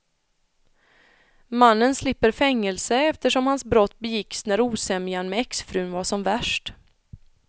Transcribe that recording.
Mannen slipper fängelse eftersom hans brott begicks när osämjan med exfrun var som värst.